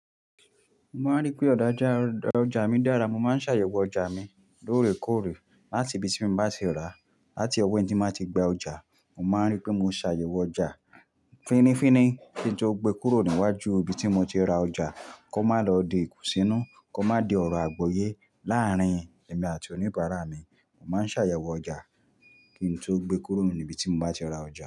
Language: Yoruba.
Mo máa ń rí pé ọ̀dàjà ọjà mi dára, mo máa ń ṣàyẹ̀wò ọjà mi lóòrèkóòrè láti ibi tí mo bá ti rà láti ọ̀wọ́ ẹni tí màá ti gba ọjà. Mo má ń rí pé mo ṣàyẹ̀wò ọjà fínnífínní kí n tó gbe kúrò níwájú ibi tí mo ti ra ọjà kó má lọ di ikùnsínú, kó má di ọ̀rọ̀ àgbọ́yé láàrín èmi àti oníbàárà mi. Mo má ń ṣàyẹ̀wò ọjà kí n tó gbe kúrò ní ibi tí m bá ti ra ọjà.